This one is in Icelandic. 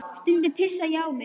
Stundum pissaði ég á mig.